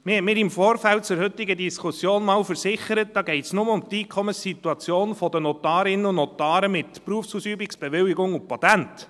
Man hat mir im Vorfeld zur heutigen Diskussion mal versichert, dabei gehe es nur um die Einkommenssituation der Notarinnen und Notare mit Berufsausübungsbewilligung und Patent.